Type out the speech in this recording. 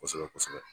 Kosɛbɛ kosɛbɛ